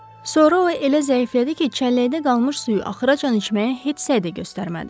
Sonra o elə zəiflədi ki, çəlləkdə qalmış suyu axıracan içməyə heç səy də göstərmədi.